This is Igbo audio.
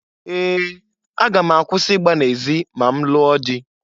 Ee! Aga m akwụsi igba n'ezi ma nlụọ dị.